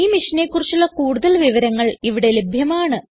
ഈ മിഷനെ കുറിച്ചുള്ള കുടുതൽ വിവരങ്ങൾ ഇവിടെ ലഭ്യമാണ്